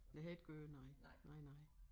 Det har I ikke gjort nej nej nej